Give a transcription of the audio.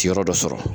Yɔrɔ dɔ sɔrɔ